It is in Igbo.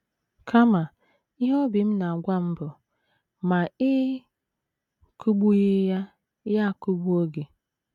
Kama, ihe obi m na - agwa m bụ, ‘ ma ị́ kụgbughị ya, ya akụgbuo gị. ’